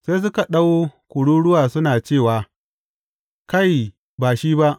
Sai suka ɗau kururuwa suna cewa, Kai, ba shi ba!